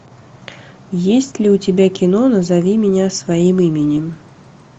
есть ли у тебя кино назови меня своим именем